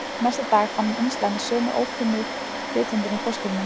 Næsta dag fann hún umslag með sömu ókunnu rithöndinni í póstkassanum